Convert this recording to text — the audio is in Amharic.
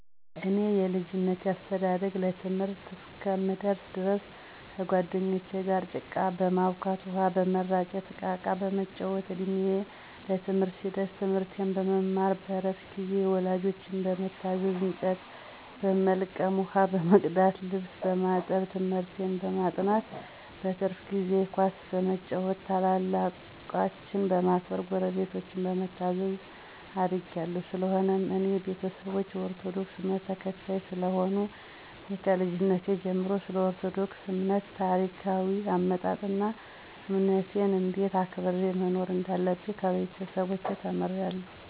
የኔ የልጅነቴ አስተዳደግ ለትምህርት እስከምደርስ ድረስ ከጓደኞቸ ጋር ጭቃ በማቡካት፣ ውሃ በመራጨት፣ እቃቃ በመጫወት፣ እድሜየ ለትምህርት ሲደርስ ትምርቴን በመማር በረፍት ጊዜየም ወላጆቸን በመታዘዝ እንጨት በመልቀም፣ ውሃ በመቅዳት፣ ልብስ በማጠብ፣ ትምህርቴን በማጥናት፣ በትርፍ ጊዜየ ኳስ በመጫወት፣ ታላላቆቸን በማክበር፣ ጉረቤቶቸን በመታዘዝ አድጌ አለሁ። ሰለሆነም የኔ ቤተሰቦች የኦርቶዶክስ እምነትን ተከታይ ስለሆኑ እኔም ከልጅነቴ ጀመሮ ስለኦርቶዶክስ እምነት ታሪካዎይ አመጣጥ አና እምነቴን እንዴት አክብሬ መኖር እንዳለብኝ ከቤተሰቦቸ ተምሬአለሁ።